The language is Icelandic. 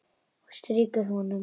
Strýkur honum.